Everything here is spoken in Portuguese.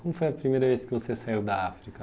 Como foi a primeira vez que você saiu da África?